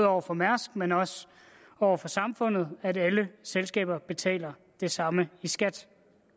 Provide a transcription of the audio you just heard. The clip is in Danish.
over for mærsk men også over for samfundet at alle selskaber betaler det samme i skat